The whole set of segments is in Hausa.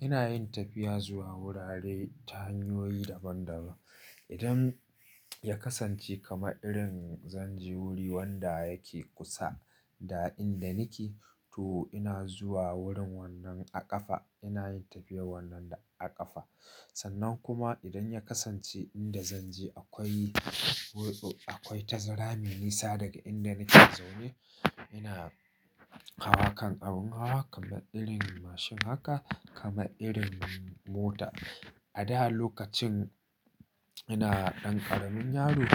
Ina yin tafiya zuwa wurare ta hanyoyi daban-daban. Idan ya kasance kamar irin zan je wuri wanda yake kusa da inda nake, to ina zuwa wurin wannan a ƙafa. Ina yin tafiyar wannan a ƙafa. Sannan kuma idan ya kasance inda zan je akwai, akwai tazara mai nisa daga inda nake zaune, ina hawa kan abin hawa kamar irin mashin haka, kamar irin mota. A da lokacin ina ɗan ƙaramin yaro,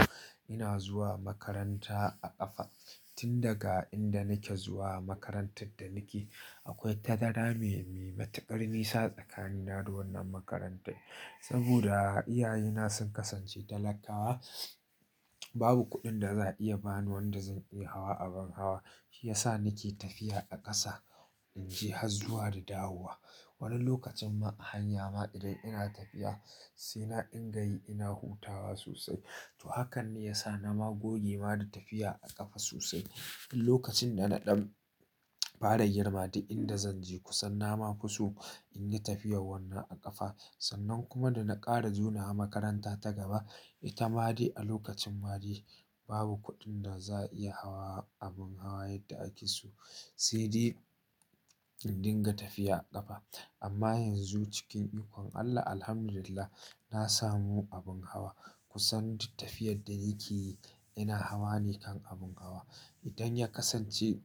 ina zuwa makaranta a ƙafa. Tun daga inda nake zuwa makarantar da nake, akwai tazara mai, mai matuƙar nisa tsakanin na da wannan makarantar. Saboda iyaye na sun kasance talakawa, babu kuɗin da za a iya ba ni wanda zan iya hawa abin hawa. Shi ya sa nake tafiya a ƙasa in je, hazduwa da dawowa. Wani lokacin ma a hanya ma idan ina tafiya, sai na dinga yi ina hutawa sosai. To hakan ne ya sa na ma goge ma da tafiya a ƙafa sosai. Lokacin da na ɗan fara girma da inda zan je kusan na ma kuso in yi tafiyar wannan a ƙafa. Sannan kuma da na ƙara jona a makaranta ta gaba, ita ma dai a lokacin ma dai babu kuɗin da za a iya hawa abin hawa yadda ake so. Sai dai in dinga tafiya a ƙafa. Amma yanzu cikin ikon Allah, alhamdulillah, na samu abin hawa. Kusan tafiyar da yake yi ina hawa ne kan abin hawa. Idan ya kasance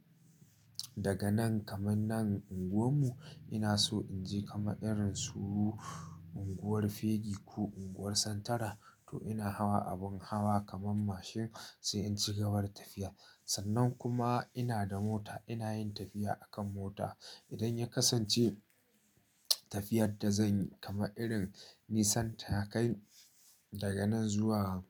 daga nan kamar nan unguwar mu, ina so in je kamar irin su unguwar Fegi ko unguwar Santara, to ina hawa abin hawa kamar mashin sai in ci gaba da tafiya. Sannan kuma ina da mota, ina yin tafiya a kan mota. Idan ya kasance tafiyar da zan yi kamar irin Nissan Takai daga nan zuwa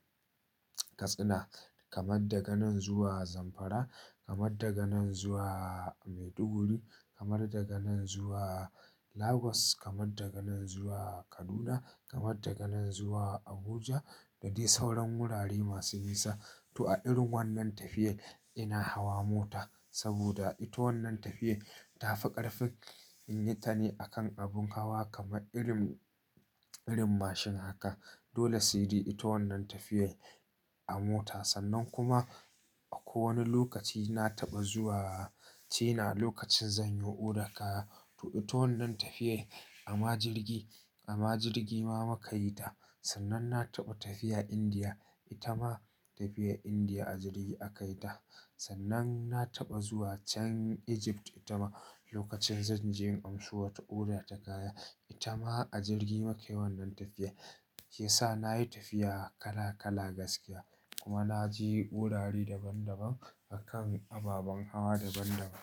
Katsina, kamar daga nan zuwa Zamfara, kamar daga nan zuwa Maiduguri, kamar daga nan zuwa Lagos, kamar daga nan zuwa Kaduna, kamar daga nan zuwa Abuja da dai sauran wurare masu nisa, to a irin wannan tafiyar ina hawa mota. Saboda ita wannan tafiyar ta fi ƙarfi in yi ta ne a kan abin hawa kamar irin, irin mashin haka. Dole sai dai ita wannan tafiyar a mota. Sannan kuma akwai wani lokaci na taɓa zuwa China lokacin zan yi odar kaya. To, ita wannan tafiyar amma jirgi, amma jirgi ma muka yi ta. Sannan na taɓa tafiya Indiya, ita ma tafiyar Indiya a jirgi aka yi ta. Sannan na taɓa zuwa Chan-- Egypt, ita ma lokacin zan je in amso wata odar takaya. Ita ma a jirgi muka yi wannan tafiyar. Ke sa na yi tafiya kala kala gaskiya. Kuma na je wurare daban-daban a kan ababen hawa daban-daban.